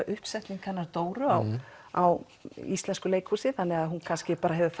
uppsetningin hennar Dóru á á íslensku leikhúsi þannig að hún kannski hefur